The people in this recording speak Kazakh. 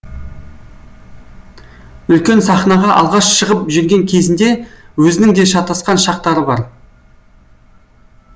үлкен сахнаға алғаш шығып жүрген кезінде өзінің де шатасқан шақтары бар